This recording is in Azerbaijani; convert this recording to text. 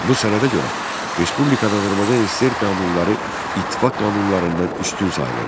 Bu sənədə görə respublikada Azərbaycan SSR qanunları ittifaq qanunlarından üstün sayılırdı.